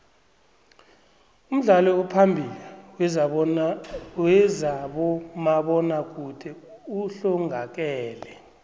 umdlali ophambili wezabomabona kude uhlongakele